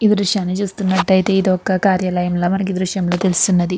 ఈ దృశ్యాన్ని చూస్తున్నట్టు అయితే ఇది ఒక కార్యాలయం లా మనకి దృశ్యంలో తెలుసుకున్నది.